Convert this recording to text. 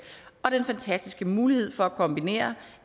og den fantastiske mulighed for at kombinere